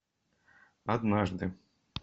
однажды